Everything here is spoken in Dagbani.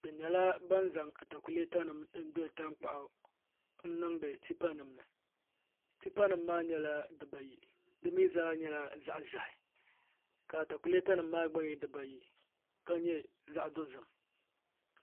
bi nyɛla ban zaŋ atakulɛta nim n gbiri tankpaɣu n biŋdi tipa nim ni tipa nim maa nyɛla dibaayi di mii zaa nyɛla zaɣ ʒiɛhi ka atakulɛta nim maa gba nyɛ dibayi ka nyɛ zaɣ dozim